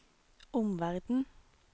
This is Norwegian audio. omverden